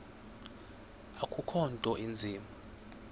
akukho nto inzima